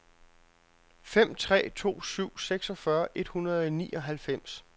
fem tre to syv seksogfyrre et hundrede og nioghalvfems